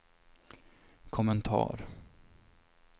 kommentar